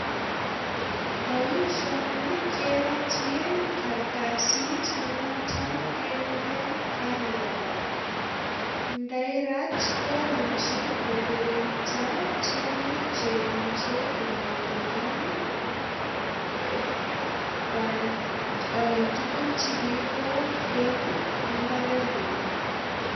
Boisioni kerotyin kartasit ne noton keguren carrier bag. Ndairat komuchi kokiringnda tiongik che imuche konyo kongem tuguk che kiigol en imbarengung.